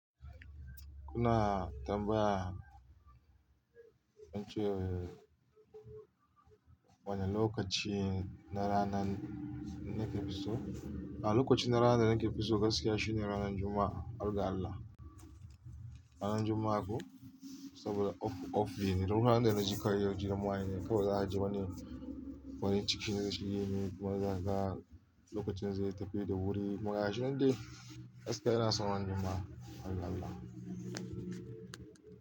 Kuna tambaya wance wane lokaci na rana na ke fi so? A lokaci na ranan da nake fi so gaskiya shine ranan Juma'a, har ga Allah. Ranan Juma'a ko saboda off, off bi ne. Ranan da na ji kayan jiran wane kamar za a je wani wani cikin zaci ginin kuma za ka lokacin zai tafi da wuri. Magana shine dai gaskiya ina son ranan Juma'a, harga Allah.